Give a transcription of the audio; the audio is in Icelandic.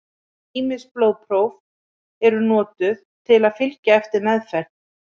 ýmis blóðpróf eru notuð til að fylgja eftir meðferð